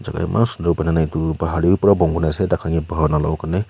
itu iman sundur banaina itu bahar tu pura bon kurina ase taihan ke bahar nawulawo karney.